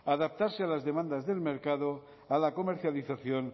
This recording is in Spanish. adaptarse a las demandas del mercado a la comercialización